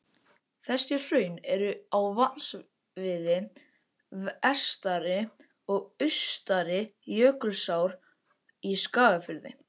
Þessi hraun eru á vatnasviði Vestari- og Austari-Jökulsár í Skagafirði.